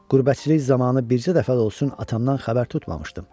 Qürbətçilik zamanı bircə dəfə də olsun atamdan xəbər tutmamışdım.